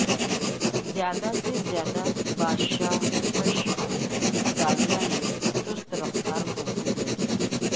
زیادہ سے زیادہ بادشاہفش زاویہ نے سست رفتار کو بھوک لگی ہے